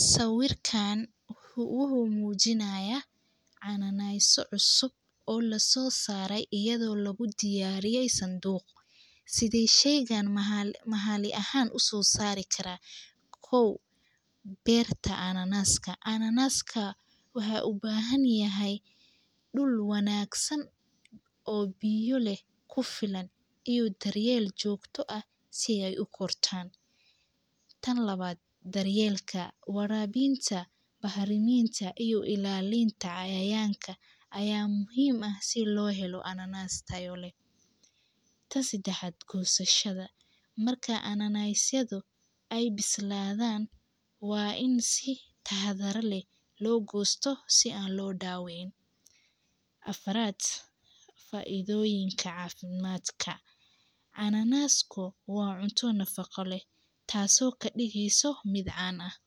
Sawirkan wuxuu mujinayaa cana nasi cusub o lasosare iyadho lagu diyariye sanduuq, sithee sheygan mahali ahan u sosari karaa, kow berta ananaska, ananaska waxaa u bahan yahay dull wanagsan o biyo leh kufiilan iyo daryeel jogtaa ah si ay u gurtan, tan lawaad daar yelka warabinta bahrimintaa iyo ilalinta cayayanka aya muhiim ah si lo helo ananas tayo leh, tan sadaxaad gosashaada marka ananasyadu ee bisladan waa in si taxadaro leh lo gostaa si lo dawicin, afaraad faidoyiinka cafiimaadka, canacasku waa cunto nafaqo leh taso kadigeyso miid caan ah.